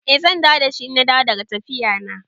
I zan dawo dashi ina dawowa daga tafiya na